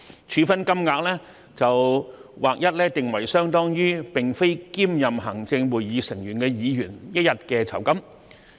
處分金額則劃一定為相當於並非兼任行政會議成員的議員一天的酬金。